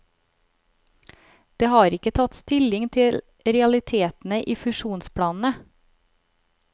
Det har ikke tatt stilling til realitetene i fusjonsplanene.